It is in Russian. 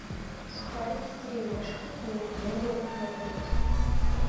сухарики кириешки и миринду ноль пять